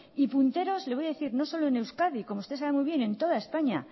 y punteros no solo en euskadi como usted sabe muy bien en toda españa